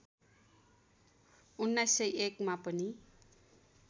१९०१ मा पनि